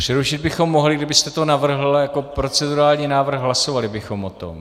Přerušit bychom mohli, kdybyste to navrhl jako procedurální návrh, hlasovali bychom o tom.